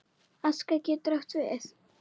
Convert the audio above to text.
Aska getur átt við